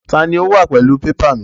Ta ni ó wà pẹ̀lú pépà mi?